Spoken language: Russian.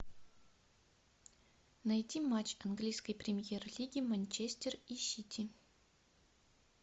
найти матч английской премьер лиги манчестер и сити